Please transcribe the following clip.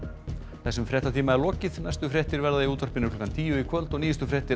þessum fréttatíma er lokið næstu fréttir verða í útvarpi klukkan tíu í kvöld og nýjustu fréttir